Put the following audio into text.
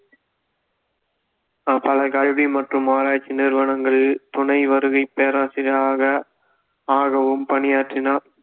பல கல்வி மற்றும் ஆராய்ச்சி நிறுவனங்களில் துணை வருகைப் பேராசிரியராக ஆகவும் பணியாற்றினார்